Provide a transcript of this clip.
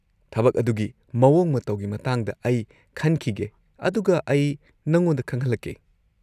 -ꯊꯕꯛ ꯑꯗꯨꯒꯤ ꯃꯑꯣꯡ ꯃꯇꯧꯒꯤ ꯃꯇꯥꯡꯗ ꯑꯩ ꯈꯟꯈꯤꯒꯦ ꯑꯗꯨꯒ ꯑꯩ ꯅꯉꯣꯟꯗ ꯈꯪꯍꯜꯂꯛꯀꯦ꯫